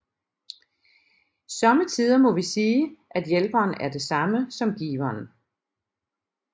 Somme tider må vi sige at hjælperen er det samme som giveren